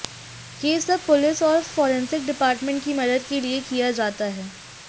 ये सब पुलिस और फॉरेंसिक डिपार्टमेंट की मदद के लिए किया जाता है